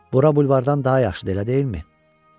Bura bulvardan daha yaxşıdır, elə deyilmi?